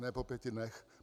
Ne, po pěti dnech.